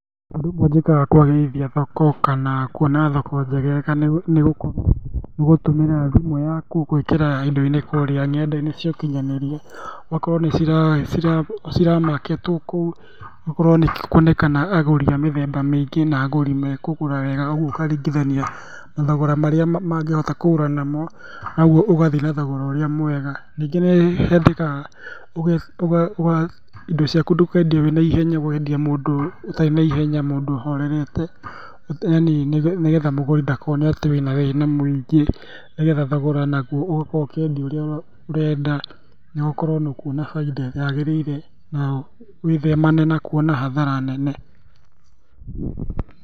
Ũndũ ũmwe njĩkaga kwagĩrithia thoko kana kuona thoko njegega nĩgũkorwo, nĩgũtũmĩra thimũ yaku gwĩkĩra indo kũrĩa nenda-inĩ cia ũkinyanĩria, ũgakorwo nĩciramaketwo kũu, ũgakorwo nĩkuonekana agũri a mĩthemba mĩingĩ na agũri mekũgũra wega koguo ũkaringithania mathogora marĩa mangĩhota kũgũra namo, naguo ũgathiĩ na thogora ũrĩa mwega. Rĩngĩ nĩhendekaga indi ciaku ndũkendie wĩna ihenya, wendie mũndũ ũtarĩ na ihenya, mũndũ ũhorerete, yani nĩgetha mũgũri ndakone atĩ wĩna thĩna mũingĩ nĩgetha thogora naguo ũgakorwo ũkĩendia ũrĩa ũrenda, nawe ũkorwo nĩũkuona bainda ĩrĩa yagĩrĩire, na wĩthemane na kuona hathara nene.